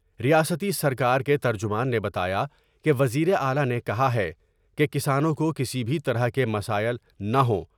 ریاستی سرکار کے ترجمان نے بتایا کہ وزیر اعلی نے کہا ہے کہ کسانوں کوکسی بھی طرح کے مسائل نہ ہوں